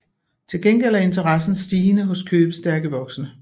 Til gengæld er interessen stigende hos købestærke voksne